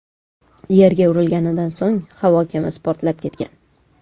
Yerga urilganidan so‘ng havo kemasi portlab ketgan.